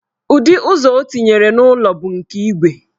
Ụdị ụzọ ọ tinyere n'ụlọ bụ nke igwe.